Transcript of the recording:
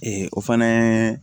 o fana